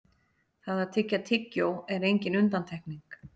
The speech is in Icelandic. það að tyggja tyggjó er engin undantekning